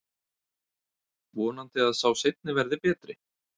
Vonandi að sá seinni verði betri.